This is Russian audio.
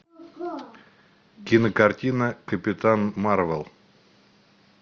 кинокартина капитан марвел